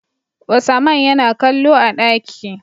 Usaman Yana kallo a daki